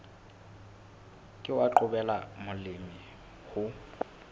ke wa qobella molemi ho